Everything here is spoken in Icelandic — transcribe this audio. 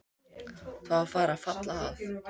Það var farið að falla að.